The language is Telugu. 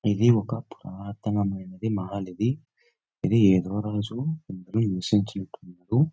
ఇది ఒక పురాతనమైనది మహానది. ఇది ఏదో రోజు --]